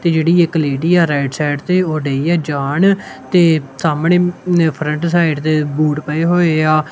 ਤੇ ਜਿਹੜੀ ਇੱਕ ਲੇਡੀ ਆ ਰਾਈਟ ਸਾਈਡ ਤੇ ਉਹ ਡੇਈ ਹ ਜਾਣ ਤੇ ਸਾਹਮਣੇ ਫਰੰਟ ਸਾਈਡ ਤੇ ਬੂਟ ਪਏ ਹੋਏ ਆ।